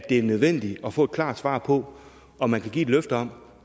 er nødvendigt at få et klart svar på om man vil give et løfte om